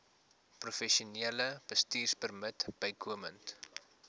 professionele bestuurpermit bykomend